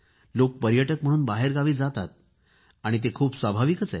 लोक पर्यटक म्हणून बाहेरगावी जातातच आणि ते खूप स्वाभाविक आहे